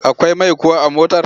Akwai mai kuwa a motar?